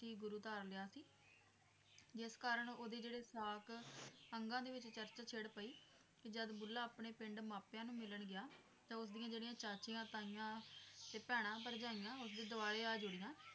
ਕੀ ਗੁਰੂ ਧਾਰ ਲਿਆ ਸੀ, ਜਿਸ ਕਾਰਨ ਉਹਦੇ ਜਿਹੜੇ ਸਾਕ ਅੰਗਾਂ ਦੇ ਵਿੱਚ ਚਰਚ ਛਿੜ ਪਈ ਜਦ ਬੁੱਲ੍ਹਾ ਆਪਣੇ ਪਿੰਡ ਮਾਪਿਆਂ ਨੂੰ ਮਿਲਣ ਗਿਆ ਤਾਂ ਉਸਦੀਆਂ ਜਿਹੜੀਆਂ ਚਾਚੀਆਂ ਤਾਈਆਂ ਤੇ ਭੈਣਾਂ ਭਰਜਾਈਆਂ ਉਸਦੇ ਦੁਆਲੇ ਆ ਜੁੜੀਆਂ